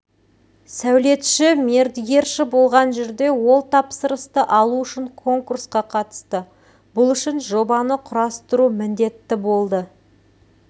сәулетші мердігерші болған жерде ол тапсырысты алу үшін конкурсқа қатысты бұл үшін жобаны құрастыру міндетті болды